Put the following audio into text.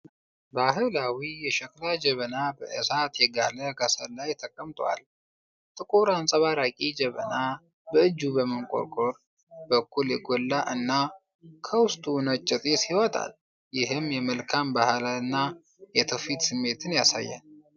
ባህላዊ የሸክላ ጀበና በእሳት የጋለ ከሰል ላይ ተቀምጧል። ጥቁር አንጸባራቂ ጀበናው በእጁና በመንቆሩ በኩል የጎላ እና፣ ከውስጡ ነጭ ጢስ ይወጣል፤ ይህም የመልካም ባህልና የትውፊት ስሜትን ያሳያል።